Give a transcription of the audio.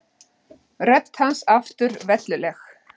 Rödd hans aftur velluleg.